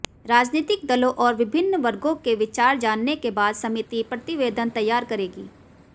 राजनैतिक दलों और विभिन्न वर्गों के विचार जानने के बाद समिति प्रतिवेदन तैयार करेगी